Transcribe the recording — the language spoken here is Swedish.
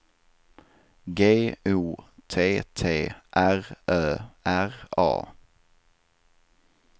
G O T T R Ö R A